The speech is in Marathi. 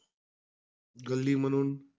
गल्ली म्हणून,